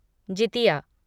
Jitiya